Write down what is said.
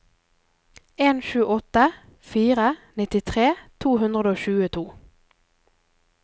en sju åtte fire nittitre to hundre og tjueto